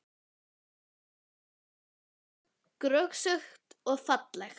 Hér er gott undir bú, grösugt og fallegt.